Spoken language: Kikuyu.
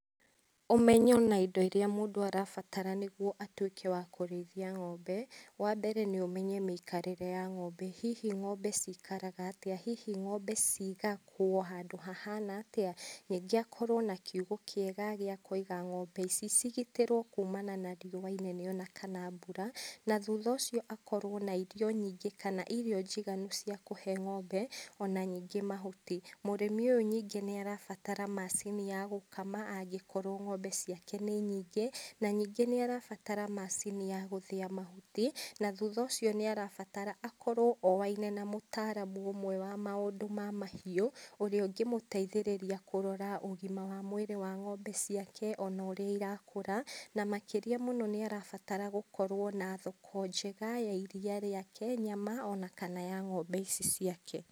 Ũmenyo na indo irĩa mũndũ arabatara nĩgũo atũĩke wa kũrĩithia ng'ombe, wa mbere nĩũmenye mĩikarĩre ya ng'ombe hihi ng'ombe cikaraga atĩa hihi ng'ombe cigagwo handũ hahana atĩa, rĩngĩ akorwo nakiugo kĩega gĩakũiga ng'ombe ici cigitarwo na riũa inene kana mbũra na thutha ũcio akorwo na irio nyingĩ kana irio njiganu cia kuhe ng'ombe ona ningĩ mahuti mũrĩmi ũyũ ningĩ nĩarabatara macini ya gũkama angĩkorwo ng'ombe ciake nĩ nyĩngĩ na na ningĩ nĩarabatara macini ya gũthĩa mahuti, na thũtha ũcio nĩarabatara akorwo oaine na mũtaramu ũmwe wa maũndũ ma mahiũ ũrĩa ũngĩmũteithĩrĩria kũrora ũgima wa mwĩrĩ wa ng'ombe ciake ona ũrĩa irakũra na makĩria mũno nĩarabatara gũkorwo na thoko njega ya iriia rĩake , nyama ona kana ya ng'ombe ici ciake.